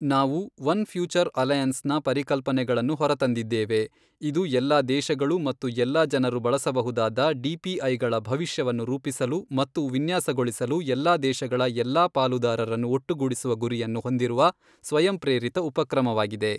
ನಾವು one future alliance ನ ಪರಿಕಲ್ಪನೆಯನ್ನು ಹೊರತಂದಿದ್ದೇವೆ, ಇದು ಎಲ್ಲಾ ದೇಶಗಳು ಮತ್ತು ಎಲ್ಲಾ ಜನರು ಬಳಸಬಹುದಾದ ಡಿಪಿಐಗಳ ಭವಿಷ್ಯವನ್ನು ರೂಪಿಸಲು ಮತ್ತು ವಿನ್ಯಾಸಗೊಳಿಸಲು ಎಲ್ಲಾ ದೇಶಗಳ ಎಲ್ಲಾ ಪಾಲುದಾರರನ್ನು ಒಟ್ಟುಗೂಡಿಸುವ ಗುರಿಯನ್ನು ಹೊಂದಿರುವ ಸ್ವಯಂಪ್ರೇರಿತ ಉಪಕ್ರಮವಾಗಿದೆ.